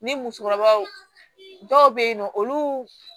Ni musokɔrɔbaw dɔw be yen nɔ olu